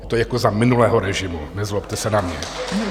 To je jako za minulého režimu, nezlobte se na mě.